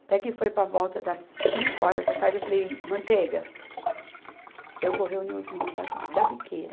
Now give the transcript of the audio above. Até que foi para a volta das cinco horas da tarde, eu falei, Manteiga, eu vou reunir os meninos das, da Biqueira.